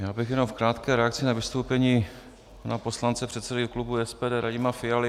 Já bych jenom v krátké reakci na vystoupení pana poslance, předsedy klubu SPD Radima Fialy.